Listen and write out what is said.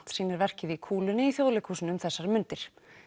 sýnir verkið í kúlunni í Þjóðleikhúsinu nú um mundir